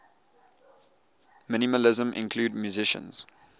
minimalism include musicians